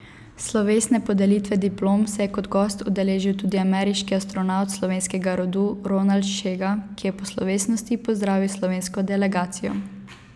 Slovesne podelitve diplom se je kot gost udeležil tudi ameriški astronavt slovenskega rodu Ronald Šega, ki je po slovesnosti pozdravil slovensko delegacijo.